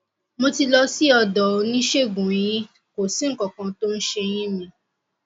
mo ti lọ sí ọdọ oníṣègùneyín kò sí nǹkan kan tó ń se eyín mi